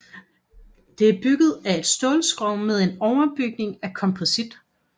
Det er bygget af et stålskrog med en overbygning af komposit